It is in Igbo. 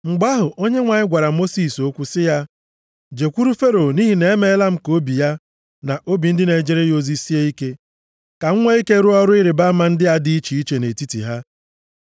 Mgbe ahụ, Onyenwe anyị gwara Mosis okwu sị ya, “Jekwuru Fero nʼihi na emeela m ka obi ya, na obi ndị na-ejere ya ozi sie ike, ka m nwee ike rụọ ọrụ ịrịbama ndị a dị iche iche nʼetiti ha.